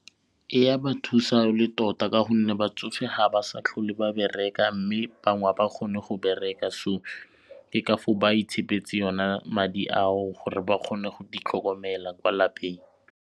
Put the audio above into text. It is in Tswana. Ya ba thusa e le tota ka gonne batsofe ha ba sa tlhole ba bereka mme bangwe ga ba kgone go bereka so ke ka foo ba itshepeletse yona madi ao gore ba kgone go itlhokomela kwa lapeng.